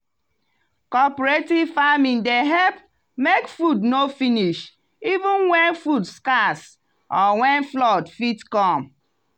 cooperative farming dey help make food no finish even when food scarce or when flood fit come.